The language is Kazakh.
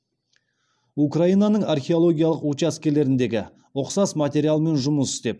украинаның археологиялық учаскелеріндегі ұқсас материалмен жұмыс істеп